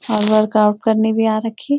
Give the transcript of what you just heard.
और वर्कआउट करने भी आ रखी --